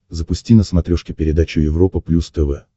запусти на смотрешке передачу европа плюс тв